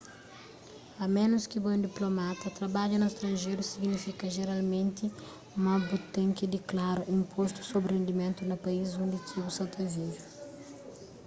a ménus ki bo é un diplomata trabadja na stranjeru signifika jeralmenti ma bu ten ki diklara inpostu sobri rendimentu na país undi ki bu sa ta vive